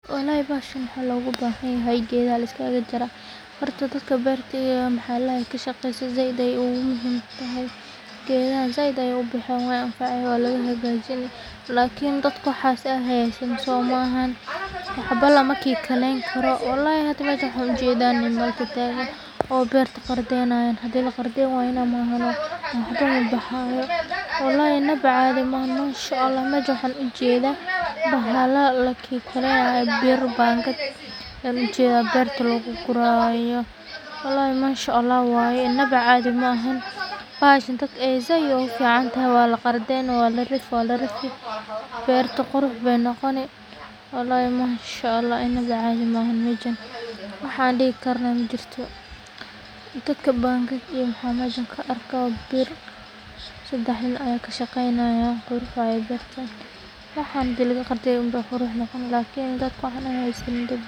Walhi baxashan wax loga bahan yahay gada liskaga jari, horta dadka birta waxaa ladahay ka shaqstoh saaid ayay ogi muhiim tahay gadaha saaid ayay ubaxan way anfacasah wa laga xagajini, lkn dadka waxas hasanin waxbo lama gikalaynikaro walhi hada mashan waxan ujadah niman tatagan oo barta qardaynayan hadii la qardanayo mahan gudah bahyo walhi inba cadii mahan mashallah mid waxan ujadah bahala laagikalana biro bangad wxan ujadah barta logu gurayo, walhi mashallah waya inab cadii mahan, bahashan dadka said ayay ogu ficantahay wa la qardaynaya ka dhib wa la rifi, barta qurux ayay noqoni, walhi mashallah inba cadii mahan majan waxan dihikaro majirto, dadka banga iyo waxan masha ka arga bir sadax nin ay ka shaqaynayan qurux waya barta waxan hadii laga qabtoh aya laa qurux noqonayin lkn dadka wax hasanin.